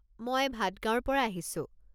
মই ভাডগাওঁৰ পৰা আহিছোঁ।